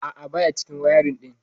A'a baya cikin wayarin din.